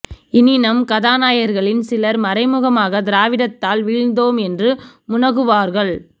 இனி நம் கதாநாயகர்களில் சிலர் மறைமுகமாக திராவிடத்தால் வீழ்ந்தோம் என்று முனகுவார்கள்